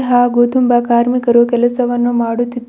ಹಾಗೂ ತುಂಬಾ ಕಾರ್ಮಿಕರು ಕೆಲಸವನ್ನು ಮಾಡುತ್ತಿದ್ದಾರೆ.